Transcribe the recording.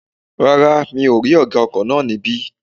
Rárá, mi ò rí ọ̀gá ọkọ̀ náà ní bẹ̀